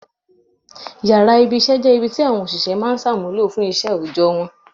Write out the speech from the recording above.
Yàrá ibi-iṣẹ́ jẹ́ ibi ti àwọn òṣìṣẹ́ máa ń ṣàmúlò fún iṣẹ́ òòjọ́ wọn.